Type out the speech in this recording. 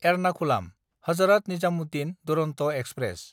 एरनाखुलाम–हजरात Nizamuddin Duronto express